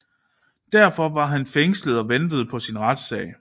Derfor var han fængslet og ventede på sin retssag